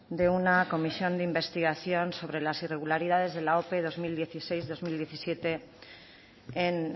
de una comisión de investigación sobre las irregularidades de la ope bi mila hamasei bi mila hamazazpi en